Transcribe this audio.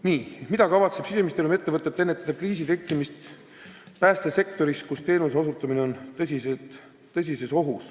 Viimane küsimus: "Mida kavatseb Siseministeerium ette võtta, et ennetada kriisi tekkimist päästesektoris, kus teenuse osutamine on tõsises ohus?